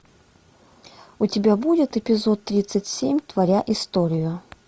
у тебя будет эпизод тридцать семь творя историю